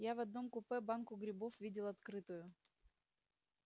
я в одном купе банку грибов видел открытую